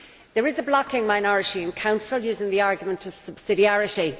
There is a blocking minority in Council using the argument of subsidiarity.